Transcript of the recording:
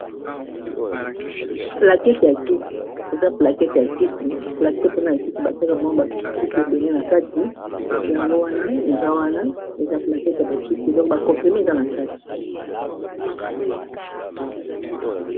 Plakete ya kisi, eza plakete ya kisi plakete wana ya kisi batiaka mwa ba kisi ebele na kati yango wana eza wana eza plakete ya ba kisi donc ba komprime eza na kati.